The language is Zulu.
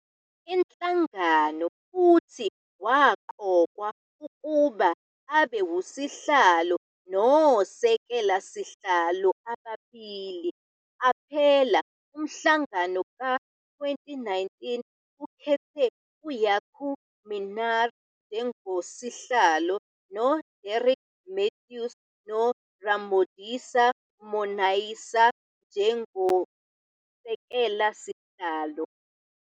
Inhlangano futhi waqokwa ukuba abe uSihlalo noSekela sihlalo ababili. Qaphela - Umhlangano ka-2019 ukhethe uJaco Minnaar njengoSihlalo no-Derek Mathews noRamodisa Monaisa njengosekela-sihlalo.